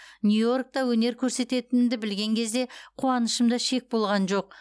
нью йоркте өнер көрсететінімді білген кезде қуанышымда шек болған жоқ